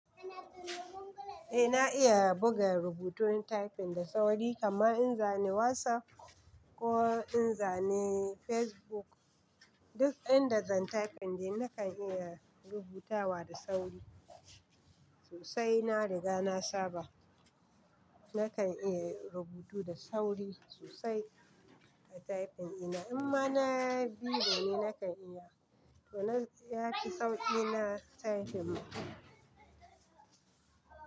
Eh na iya buga rubutun typing da sauri kamar in zane WhatsApp, ko in zane Facebook, duk inda zan typing dai na kan iya rubutawa da sauri, sosai na riga na saba, na kan iya rubutu da sauri sosai a typing ina. In ma na biro ne na kan iya, to nan ya fi sauƙi na typing ma.